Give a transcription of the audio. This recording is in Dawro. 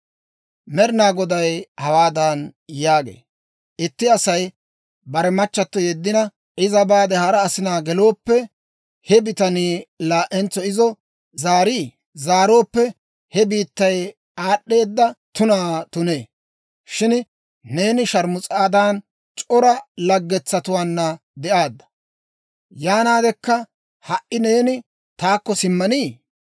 Med'inaa Goday hawaadan yaagee; «Itti Asay bare machchato yeddina, iza baade hara asinaa gelooppe, he bitanii laa"entso izo zaarii? Zaarooppe he biittay aad'd'eeda tunaa tunee! Shin neeni sharmus'aadan, c'ora laggetsatuwaanna de'aadda; yaanaadekka ha"i neeni taakko simmanii!